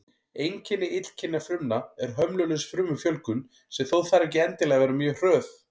Einkenni illkynja frumna er hömlulaus frumufjölgun, sem þó þarf ekki endilega að vera mjög hröð.